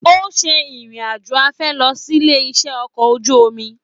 O ṣe ìrìn àjò afẹ́ lọ sílé iṣẹ okọ̀ ojú omi.